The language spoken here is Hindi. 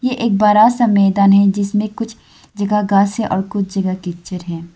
ये एक बड़ा सा मैदान है जिसमें कुछ जगह घास है और कुछ जगह कीचड़ है।